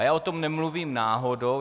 A já o tom nemluvím náhodou.